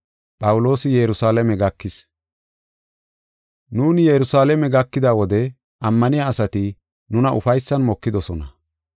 Nuuni Yerusalaame gakida wode ammaniya asati nuna ufaysan mokidosona.